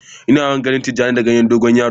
Ina yawan ganin tijani da ganyen dogo yaro.